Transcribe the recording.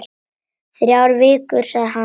Þrjár vikur, sagði hann.